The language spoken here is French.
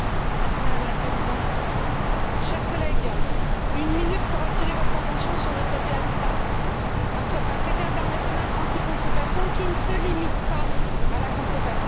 Madame la Présidente, chers collègues, je dispose d'une minute pour attirer votre attention sur le traité ACTA, un traité international anti contrefaçon, qui ne se limite pas à la contrefaçon.